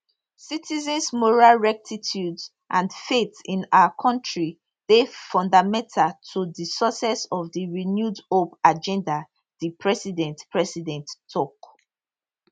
citizens moral rectitude and faith in our kontri dey fundamental to di success of di renewed hope agenda di president president tok